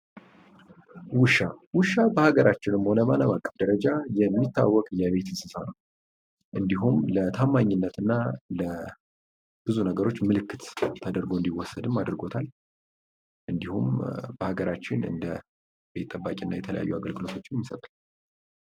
ውሻ ። ውሻ በሀገራችን ሆነ በአለም አቀፍ ደረጃ የሚታወቅ የቤት እንስሳ ነው ። እንዲሁም ለታማኝነት እና ለብዙ ነገሮች ምልክት ተደርጎ እንዲወሰድም አድርጎታል ። እንዲሁም በሀገራችን እንደ ቤት ጠባቂ እና የተለያዩ አገልግሎቶችም ይሰጣል።